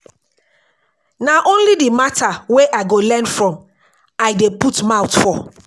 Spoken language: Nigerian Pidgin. Na only di mata wey I go learn from I dey put mouth for.